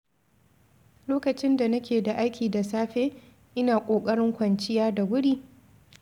Lokacin da nake da aiki da safe, ina kokarin kwanciya da wuri.